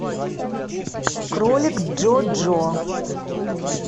кролик джо джо